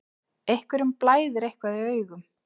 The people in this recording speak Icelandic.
Einhverjum blæðir eitthvað í augum